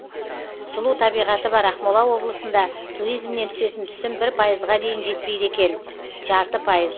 сұлу табиғаты бар ақмола облысында туризмнен түсетін түсім бір пайызға дейін жетпейді екен жарты пайыз